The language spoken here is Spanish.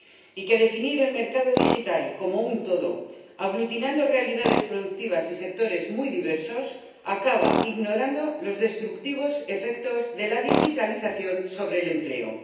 Y que definir el mercado digital como un todo, aglutinando realidades productivas y sectores muy diversos, acaba ignorando los destructivos efectos de la digitalización sobre el empleo.